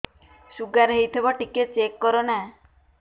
sugar ହେଇଥିବ ଟିକେ check କର ନା